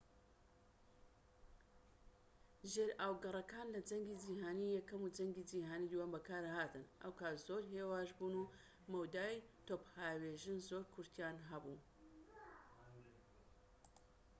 ژێرئاوگەڕەکان لە جەنگی جیهانی یەکەم و جەنگی جیهانی دووەم بەکارهاتن ئەو کات زۆر هێواش بوون و مەودای تۆپهاوێژی زۆر کورتیان هەبوو